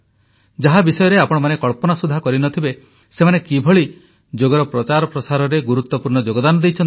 ଯାହା ବିଷୟରେ ଆପଣମାନେ କଳ୍ପନା ସୁଦ୍ଧା କରିନଥିବେ ସେମାନେ ଯୋଗର ପ୍ରଚାର ପ୍ରସାରରେ ଗୁରୁତ୍ୱପୂର୍ଣ୍ଣ ଯୋଗଦାନ ଦେଇଛନ୍ତି